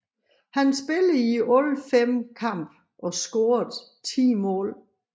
Han spillede i alle fem kampe og scorede ti mål